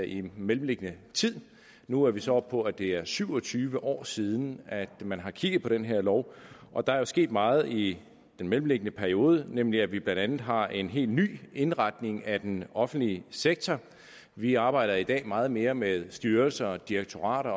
i den mellemliggende tid nu er vi så oppe på at det er syv og tyve år siden at man har kigget på den her lov og der er jo sket meget i den mellemliggende periode nemlig det at vi blandt andet har en helt ny indretning af den offentlige sektor vi arbejder i dag meget mere med styrelser direktorater